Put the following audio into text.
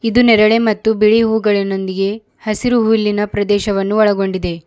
ಇದು ನೇರಳೆ ಮತ್ತು ಬಿಳಿ ಹೂಗಳನ್ನೊಂದಿಗೆ ಹಸಿರು ಹುಲ್ಲಿನ ಪ್ರದೇಶವನ್ನು ಒಳಗೊಂಡಿದೆ.